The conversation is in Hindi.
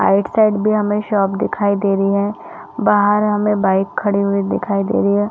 आइड साइड भी हमें शॉप दिखाई दे रही है बाहर हमें बाइक खड़ी हुई दिखाई दे रही है।